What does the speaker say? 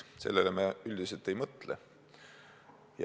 Sellele me üldiselt ei mõtle.